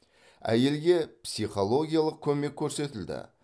әйелге психологиялық көмек көрсетілді